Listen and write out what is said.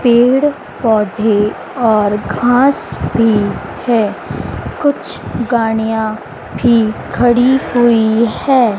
पेड़-पौधे और घास भी है। कुछ गाड़ियां भी खड़ी हुई है।